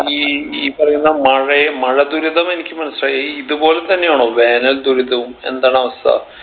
ഈ ഈ പറയുന്ന മഴയെ മഴ ദുരിതം എനിക്ക് മനസിലായി ഈ ഇത്പോലെ തന്നെയാണോ വേനൽ ദുരിതവും എന്താണ് അവസ്ഥ